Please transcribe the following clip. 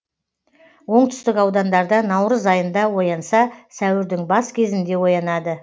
оңтүстік аудандарда наурыз айында оянса сәуірдің бас кезінде оянады